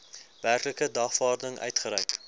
werklike dagvaarding uitgereik